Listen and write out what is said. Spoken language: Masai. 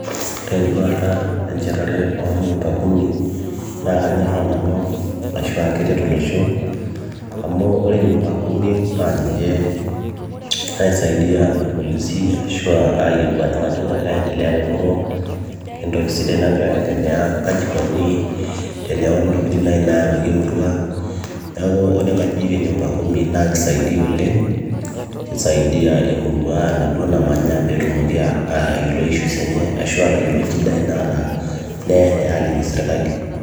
Ore enduata enchetare oo nyumba kumi naakanyoraa nanu ashuua keret olosho amu ore nyumba kumi naa ninche naisaidia irpolisi ashua ayiolou aajo kanyioo nagira aendelea te murua anakentoki sidai nagira aendelea naa kaji eikoni tenerwori intokitin naayawuaki emurua neeku ore inkajinik e nyumba kumi naa keisaidia oleng keisidai emurua enaduo namanya peetumoki aatayiolo issues [cs ashua aata yiolo nchidai naata neyayai aaliki serkali.